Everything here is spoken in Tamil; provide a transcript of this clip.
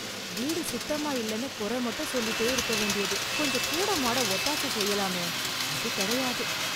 வீடு சுத்தமா இல்லைனு குறை மட்டும் சொல்லிட்டே இருக்க வேண்டியது. கொஞ்சம் கூடமாட ஒத்தாச செய்யலாமே. அது கிடையாது.